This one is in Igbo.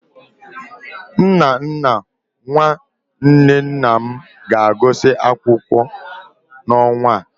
Nnanna nwa nwanne nna m ga-agụsị akwụkwọ n'ọnwa a.